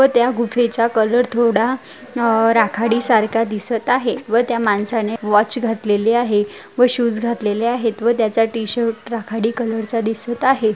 व त्या गुफेचा कलर थोडा अह राखाडी सारखा दिसत आहे व त्या माणसाने वाॅच घातलेली आहे व शूज घातलेले आहेत व त्याचा टी- शर्ट राखाडी कलर चा दिसत आहे.